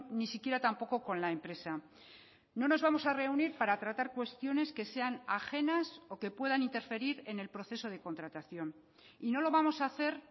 ni siquiera tampoco con la empresa no nos vamos a reunir para tratar cuestiones que sean ajenas o que puedan interferir en el proceso de contratación y no lo vamos a hacer